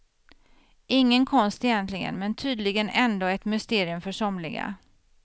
Ingen konst egentligen men tydligen ändå ett mysterium för somliga.